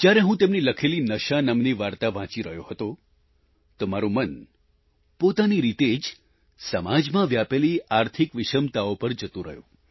જ્યારે હું તેમની લખેલી નશા નામની વાર્તા વાંચી રહ્યો હતો તો મારું મન પોતાની રીતે જ સમાજમાં વ્યાપેલી આર્થિક વિષમતાઓ પર જતું રહ્યું